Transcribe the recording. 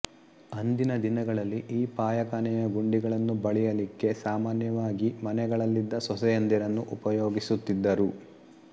ಅಂದಿನ ದಿನಗಳಲ್ಲಿ ಈ ಪಾಯಖಾನೆಯ ಗುಂಡಿಗಳನ್ನು ಬಳಿಯಲಿಕ್ಕೆ ಸಾಮಾನ್ಯವಾಗಿ ಮನೆಗಳಲ್ಲಿದ್ದ ಸೊಸೆಯಂದಿರನ್ನು ಉಪಯೋಗಿಸುತ್ತಿದ್ದರು